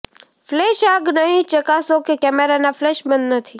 flash આગ નહીં ચકાસો કે કેમેરાના ફ્લેશ બંધ નથી